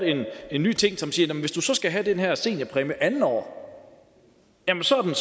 en ny ting som siger at hvis du skal have den her seniorpræmie andet år jamen så er